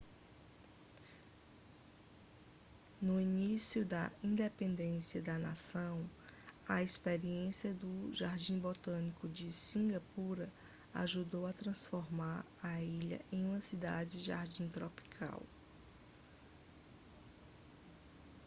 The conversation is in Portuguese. no início da independência da nação a experiência do jardim botânico de cingapura ajudou a transformar a ilha em uma cidade-jardim tropical